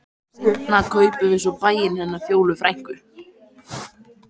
Seinna kaupum við svo bæinn hennar Fjólu frænku.